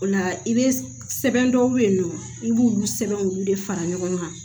O la i bɛ sɛbɛn dɔw bɛ yen nɔ i b'olu sɛbɛn olu de fara ɲɔgɔn kan